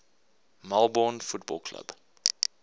melbourne football club